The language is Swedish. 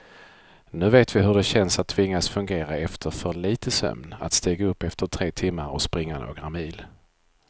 Nu vet vi hur det känns att tvingas fungera efter för lite sömn, att stiga upp efter tre timmar och springa några mil.